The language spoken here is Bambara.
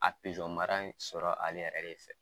A pijɔɔn mara in sɔrɔ ale yɛrɛ de fɛ.